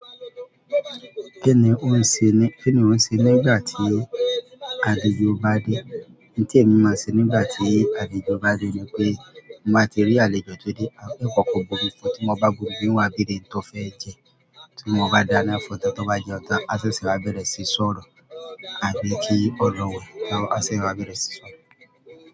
Kíni ò ń ṣe ni, kíni ò ń ṣe nígbà tí àlejò bá dé? Ohun tí èmi máa ṣe nígbà tí àlejò bá dé ni pé, bí mo bá ti rí àlejò tó dé. Àìfẹ́ kankan bo ibi fo tí mo bá gùn gùn wá bíre tó fẹ́ jẹ, tí mo bá dáná fún ọ̀tọ̀ tó bá jẹ ọ̀tá, àsè sí i bá bẹ̀rẹ̀ sí sọ̀rọ̀. Àbí kí ọ̀rọ̀ wẹ̀, àṣẹ̀ sì bá bẹ̀rẹ̀ sí sọ̀rọ̀.